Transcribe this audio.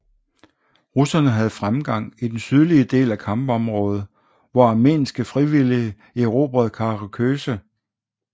Russerne havde fremgang i den sydlige del af kampområdet hvor armenske frivillige erobrede Karaköse og Doğubeyazıt